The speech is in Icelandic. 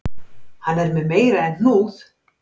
Hann er með meira en hnúð